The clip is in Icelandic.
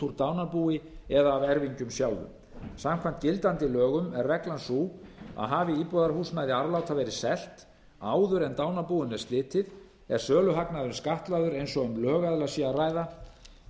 úr dánarbúi eða af erfingjum sjálfum samkvæmt gildandi lögum er reglan sú að hafi íbúðarhúsnæði arfláta verið selt áður en dánarbúinu er slitið er söluhagnaðurinn skattlagður eins og um lögaðila sé að ræða